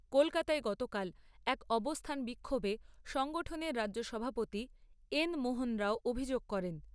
কলকাতায় গতকাল এক অবস্থান বিক্ষোভে সংগঠনের রাজ্য সভাপতি এন মোহন রাও অভিযোগ করেন।